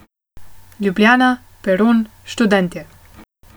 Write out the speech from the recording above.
Ljubljana, peron, študentje.